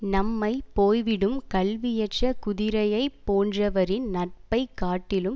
நம்மை போய்விடும் கல்வியற்ற குதிரையை போன்றவரின் நட்பை காட்டிலும்